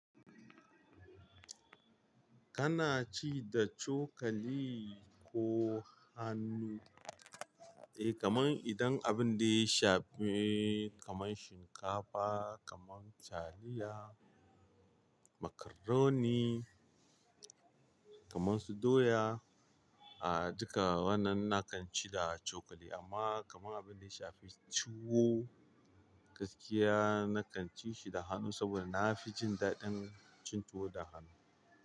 Kana ci da cokali ko hannu? Eh, kamar idan abin da ya shafi kamar shinkafa, kamar taliya, macaroni, kamar su doya, ah duka wannan nakan ci da cokali. Amma kamar abin da ya shafi tuwo gaskiya nakan ci shi da hannu saboda na fi jin daɗin cin tuwo da hannu.